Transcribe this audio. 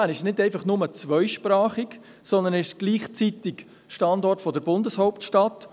Bern ist nicht nur einfach zweisprachig, sondern gleichzeitig Standort der Bundeshauptstadt.